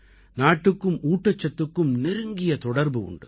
நாட்டுக்கும் ஊட்டச்சத்துக்கும் நெருங்கிய தொடர்பு உண்டு